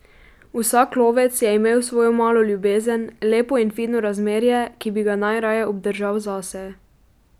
Vsak lovec je imel svojo malo ljubezen, lepo in fino razmerje, ki bi ga najraje obdržal zase.